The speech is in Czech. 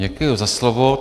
Děkuji za slovo.